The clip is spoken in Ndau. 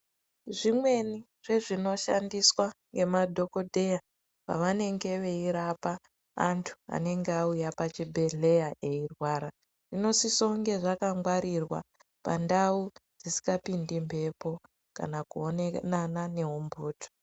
Zvimweni zvezvinoshandiswa ngemadhokoteya pavanenge veirapa antu aenga auya pachibhedleya eirwara, zvinosisa kunge zvakangwarirwa pandau dzisingapindi mbepo kana kuonana neumbutu.